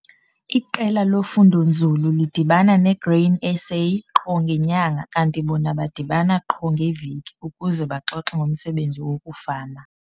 Iqela lofundo-nzulu lidibana neGrain SA qho ngenyanga kanti bona badibana qho ngeveki ukuze baxoxe ngomsebenzi wokufama.